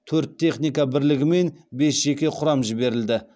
төрт техника бірлігі мен бес жеке құрам жіберілді